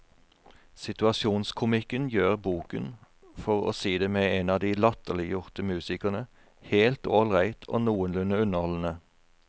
Situasjonskomikken gjør boken, for å si det med en av de latterliggjorte musikerne, helt ålreit og noenlunde underholdende.